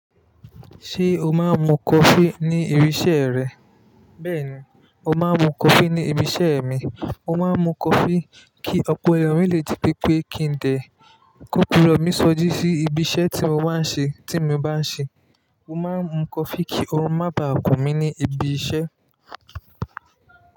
Ṣé o máa ń mu coffee ní ibi iṣẹ́ rẹ? Bẹ́ẹ̀ni, mo máa ń mu coffee ní ibi iṣẹ́ mi. Mo máa ń mu coffee kí ọpọlọ mi lè ji pé pé kí n dẹ̀, kó kí irọ́ mi sọjí sí ibi iṣẹ́ tí mo bá ń ṣe. Ti mi ba n se máa ń mu coffee kí orun má bàa kùn mí ní ibi iṣẹ́.